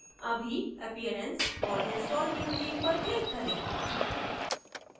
अभी appearance और install new theme पर click करें